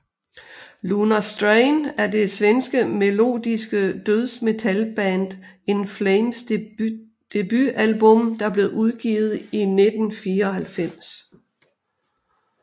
Lunar Strain er det svenske melodiske dødsmetalband In Flames debutalbum der blev udgivet i 1994